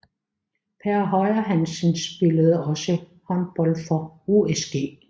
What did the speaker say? Per Høyer Hansen spillede også håndbold for USG